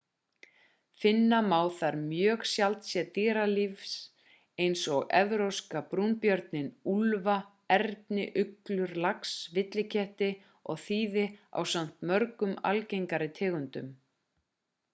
finna má þar mjög sjaldséð dýralíf eins og evrópska brúnbjörninn úlfa erni uglur lax villiketti og þiði ásamt mörgum algengari tegundum